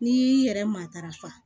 N'i y'i yɛrɛ matarafa